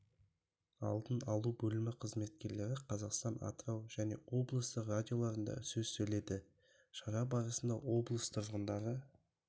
алдын алу бөлімі қызметкерлері қазақстан атырау және облыстық радиоларында сөз сөйледі шара барысында облыс тұрғындары